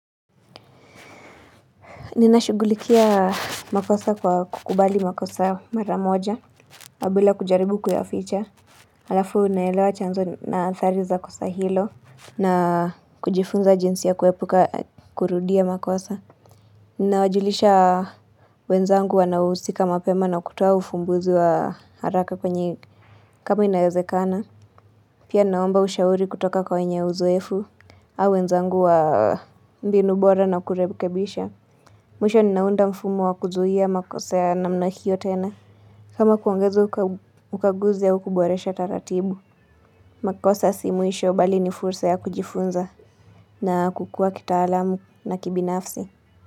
Ninashughulikia makosa kwa kukubali makosa maramoja wabila kujaribu kuyaficha. Alafu unaelewa chanzo na athari za kosa hilo na kujifunza jinsi ya kuepuka kurudia makosa. Ninawajulisha wenzangu wanausika mapema na kutoa ufumbuzi wa haraka kwenye kama inaezekana. Pia naomba ushauri kutoka kwa wenye uzoefu au wenzangu wa mbinubora na kurebkebisha. Mwisho ninaunda mfumo wa kuzuia makosa ya namna hio tena. Kama kuongezwa kwa ukaguzi au kuboresha taratibu. Makosa si mwisho bali ni fursa ya kujifunza na kukua kita. Alamu na kibinafsi.